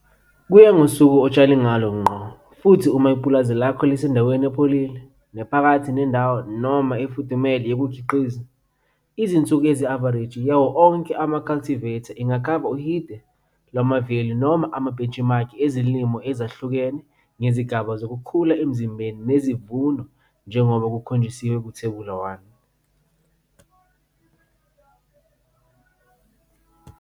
Kuya ngosuku otshale ngalo ngqo futhi uma ipulazi lakho lisendaweni epholile, nephakathi nendawo noma efudumele yokukhiqiza, izinsuku ezi-avareji yawo onke ama-cultivar ingakhava uhide lwama-value noma amabhentshimakhi ezilimo ezahlukene ngezigaba zokukhula emzimbeni nezivuno njengoba kukhonjisiwe kuThebula 1.